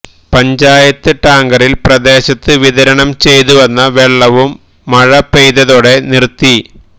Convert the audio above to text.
പഞ്ചായത്ത് ടാങ്കറില് പ്രദേശത്ത് വിതരണം ചെയ്തുവന്ന വെള്ളവും മഴ പെയ്തതോടെ നിര്ത്തി